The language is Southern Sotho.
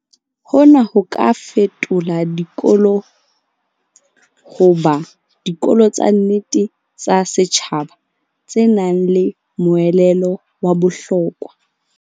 Hona ho ka fetola dikolo ho ba "dikolo tsa nnete tsa setjhaba" tse nang le moelelo wa bohlokwa.